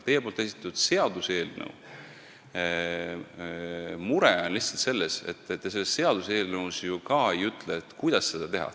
Teie esitatud seaduseelnõu mure on lihtsalt selles, et te ju selles seaduseelnõus ka ei ütle, kuidas seda teha.